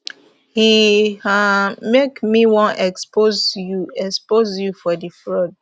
e um make me wan expose you expose you for di fraud